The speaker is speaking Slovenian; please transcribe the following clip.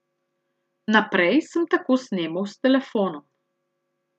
Naprej sem tako snemal s telefonom.